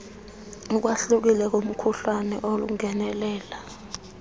ukwahlukile kumkhuhlane olingenelela